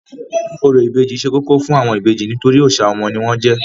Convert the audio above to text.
Orò ìbejì ṣe kókó fún àwọn ìbejì nítorí òòṣà ọmọ ni wọ́n jẹ́.